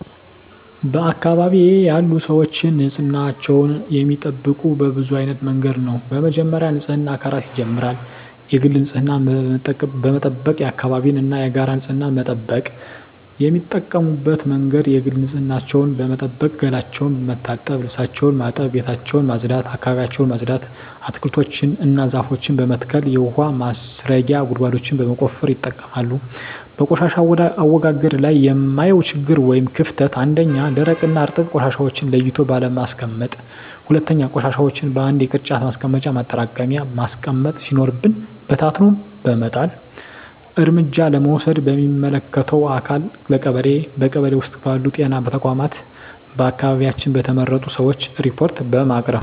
በአካባቢዬ ያሉ ሰዎች ንፅህናቸውን የሚጠብቁት በብዙ አይነት መንገድ ነው በመጀመሪያ ንፅህና ከራስ ይጀምራል የግል ንፅህናን በመጠበቅ የአካባቢን እና የጋራ ንፅህና መጠበቅ። የሚጠቀሙበት መንገድ የግል ንፅህናቸውን በመጠበቅ ገላቸውን መታጠብ ልብሳቸውን ማጠብ ቤታቸውን ማፅዳት አካባቢያቸውን ማፅዳት። አትክልቶችን እና ዛፎችን በመትከል የውሀ ማስረጊያ ጉድጓዶችን በመቆፈር ይጠቀማሉ። በቆሻሻ አወጋገድ ላይ የማየው ችግር ወይም ክፍተት 1ኛ, ደረቅና እርጥብ ቆሻሻዎችን ለይቶ ባለማስቀመጥ 2ኛ, ቆሻሻዎችን በአንድ የቅርጫት ማስቀመጫ ማጠራቀሚያ ማስቀመጥ ሲኖርብን በታትኖ በመጣል። እርምጃ ለመውሰድ ለሚመለከተው አካል ለቀበሌ ,በቀበሌ ውስጥ ባሉ ጤና ተቋማት በአካባቢያችን በተመረጡ ሰዎች ሪፓርት በማቅረብ።